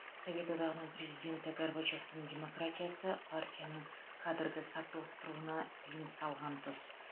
совет одағының президенті горбачевтің демократиясы партияның кадрды сапырылыстыруына тыйым салған тұс